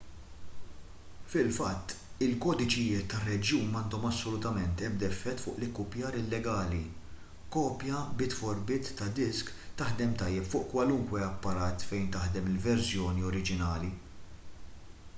fil-fatt il-kodiċijiet tar-reġjun m'għandhom assolutament ebda effett fuq l-ikkupjar illegali kopja bit-for-bit ta' disk taħdem tajjeb fuq kwalunkwe apparat fejn taħdem il-verżjoni oriġinali